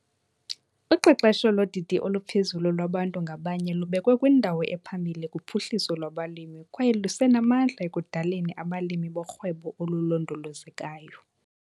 Uqeqesho lodidi oluphezulu lwabantu ngabanye lubekwe kwindawo ephambili kuphuhliso lwabalimi kwaye lusenamandla ekudaleni abalimi borhwebo olulondolozekayo.